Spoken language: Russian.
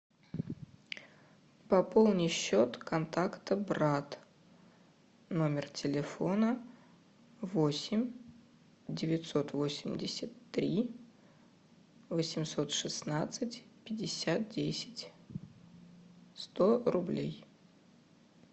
пополни счет контакта брат номер телефона восемь девятьсот восемьдесят три восемьсот шестнадцать пятьдесят десять сто рублей